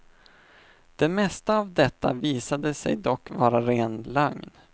Det mesta av detta visade sig dock vara ren lögn.